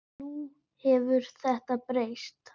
Nú hefur þetta breyst.